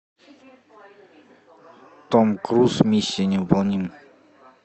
том круз миссия невыполнима